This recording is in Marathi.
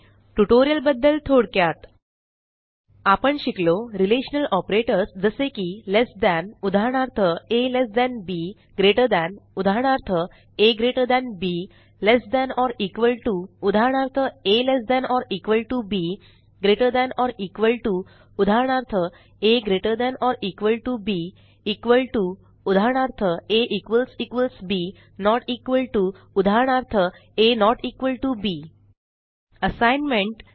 ट्युटोरियलबद्दल थोडक्यात आपण शिकलो रिलेशनल ऑपरेटर्स जसे की लेस than उदाहरणार्थ अब less than or equal to उदाहरणार्थ altb greater than or equal to उदाहरणार्थ agtb इक्वॉल to उदाहरणार्थ ab नोट इक्वॉल to उदाहरणार्थ ab असाइनमेंट